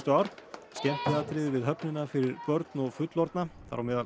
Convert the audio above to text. ár skemmtiatriði við höfnina fyrir börn og fullorðna þar á meðal